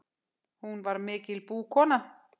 Hún var mikil búkona.